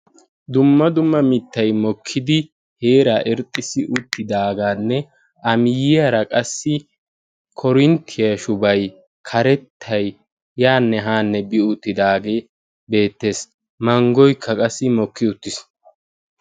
Dumma dumma mittay mokkidi heeraa irxxissi uttidaagaanne A miyyiyara qassi Korinttiya shubayi karettay yaanne haanne bi uttidaagee beettees. Manggoykka qassi mokki uttiis.